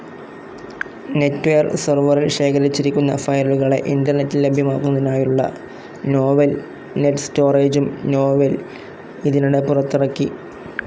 NetWare സെർവറിൽ ശേഖരിച്ചിരിക്കുന്ന ഫയലുകളെ ഇന്റർനെറ്റിൽ ലഭ്യമാക്കുന്നതിനായുള്ള നോവെൽ നെറ്റ്സ്റ്റോറേജും നോവെൽ ഇതിനിടെ പുറത്തിറക്കി.